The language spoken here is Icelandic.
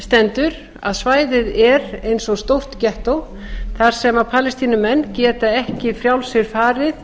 stendur að svæðið er eins og stórt gettó þar sem palestínumenn geta ekki frjálsir farið